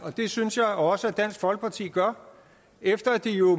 det synes jeg også dansk folkeparti gør efter at de jo